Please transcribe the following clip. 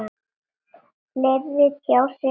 Fleiri tjá sig um málið